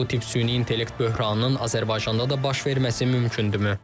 Bəs bu tip süni intellekt böhranının Azərbaycanda da baş verməsi mümkündürmü?